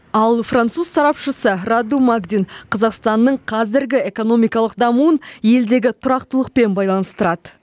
ал француз сарапшысы раду магдин қазақстанның қазіргі экономикалық дамуын елдегі тұрақтылықпен байланыстырады